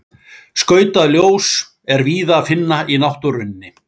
Skautað ljós er víða að finna í náttúrunni.